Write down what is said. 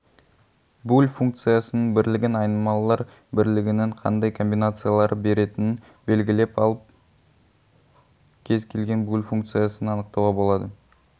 буль функциясының бірлігін айнымалылар бірлігінің қандай комбинациялары беретінін белгілеп алып кез келген буль функциясын анықтауға болады